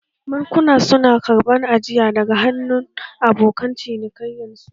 Bankuna su na karɓan ajiya daga hannun abokan cinikayyan su.